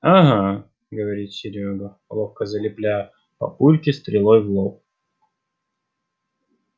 ага говорит серёга ловко залепляя папульке стрелой в лоб